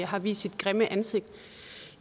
har vist sit grimme ansigt